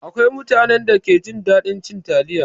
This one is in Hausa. Akwai mutanen da ke jin daɗin cin taliya.